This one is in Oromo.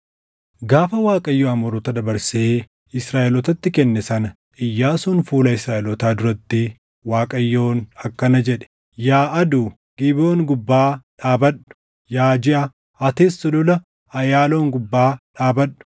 Gaafa Waaqayyo Amoorota dabarsee Israaʼelootatti kenne sana Iyyaasuun fuula Israaʼelootaa duratti Waaqayyoon akkana jedhe: “Yaa aduu, Gibeʼoon gubbaa dhaabadhu; yaa jiʼa, atis Sulula Ayaaloon gubbaa dhaabadhu.”